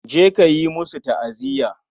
Je ka yi musu ta'aziya.